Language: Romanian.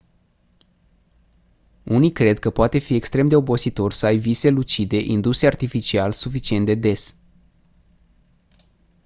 unii cred că poate fi extrem de obositor să ai vise lucide induse artificial suficient de des